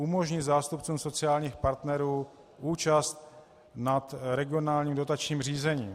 Umožnit zástupcům sociálních partnerů účast na regionálním dotačním řízení.